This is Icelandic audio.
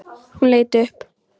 Hún leit upp.